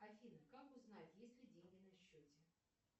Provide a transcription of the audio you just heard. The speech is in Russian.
афина как узнать есть ли деньги на счете